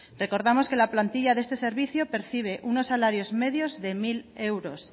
recordamos que la plantilla de este servicio percibe unos salarios medios de mil euros